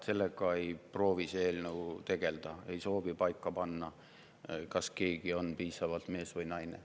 Sellega see eelnõu tegeleda ei proovi, ei soovi paika panna, kas keegi on piisavalt mees või naine.